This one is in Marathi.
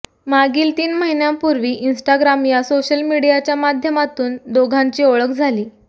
मागील तीन महिन्यांपूर्वी इंस्टाग्राम या सोशल मीडियाच्या माध्यमातून दोघांची ओळख झाली